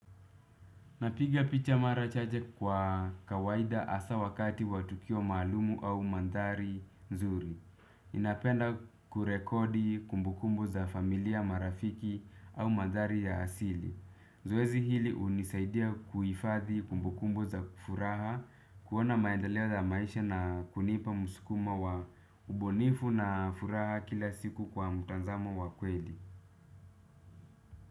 Napiga picha mara chache kwa kawaida hasa wakati wa tukio maalum au mandhari nzuri. Ninapenda kurekodi kumbukumbu za familia marafiki au mandhari ya asili. Zoezi hili hunisaidia kuhifadhi kumbukumbu za furaha, kuona maendeleo za maisha na kunipa msukumo wa ubunifu na furaha kila siku kwa mtazamo wa kweli.